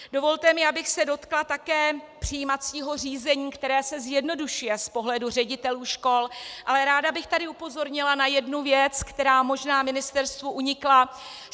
Dovolte mi, abych se dotkla také přijímacího řízení, které se zjednoduší z pohledu ředitelů škol, ale ráda bych tady upozornila na jednu věc, která možná ministerstvu unikla.